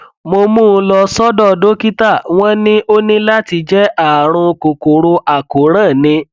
mo mú un lọ sọdọ dókítà wọn ní ó ní láti jẹ ààrùn kòkòrò àkóràn ni